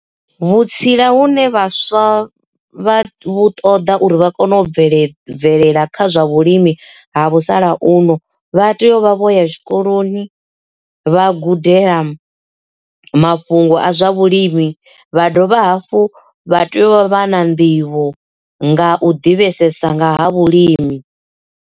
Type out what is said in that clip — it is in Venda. Vhutsila hune vhaswa vha vhu ṱoḓa uri vha kone u bvelela bvelela kha zwa vhulimi ha musalauno vha tea u vha vho ya tshikoloni vha gudela mafhungo a zwa vhulimi vha dovha hafhu vha tea u vha na nḓivho nga u ḓivhesesa nga ha vhulimi.